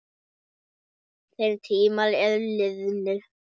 Þeir tímar eru liðnir.